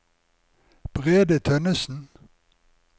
Brede Tønnesen